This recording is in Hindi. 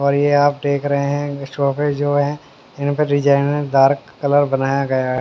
और ये आप देख रहे हैं शॉप जो है इन पर डिजाइनर डार्क कलर बनाया गया है।